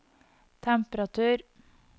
temperatur